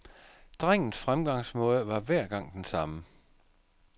Drengens fremgangsmåde var hver gang den samme.